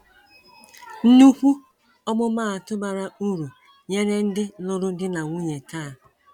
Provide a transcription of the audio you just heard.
Nnukwu ọmụmaatụ bara uru nyere ndị lụrụ di na nwunye taa!